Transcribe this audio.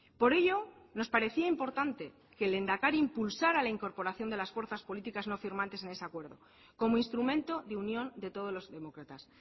por ello nos parecía importante que el lehendakari impulsara la incorporación de las fuerzas políticas no firmantes en ese acuerdo como instrumento de unión de todos los demócratas